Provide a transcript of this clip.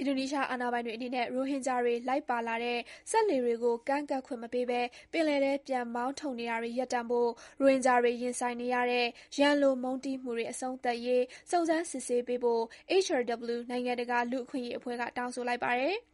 အင်ဒိုနီးရှား အာဏာပိုင်တွေအနေနဲ့ ရိုဟင်ဂျာတွေ လိုက်ပါလာတဲ့ စက်လှေတွေကို ကမ်းကပ်ခွင့်မပေးဘဲ ပင်လယ်ထဲ ပြန်မောင်းထုတ်နေတာတွေ ရပ်တန့်ဖို့၊ ရိုဟင်ဂျာတွေ ရင်ဆိုင်နေရတဲ့ ရန်လိုမုန်းတီးမှုတွေ အဆုံးသတ်ရေး စုံစမ်း စစ်ဆေးပေးဖို့ HRW နိုင်ငံတကာ လူ့အခွင့်အရေးအဖွဲ့က တောင်းဆိုလိုက်ပါတယ်။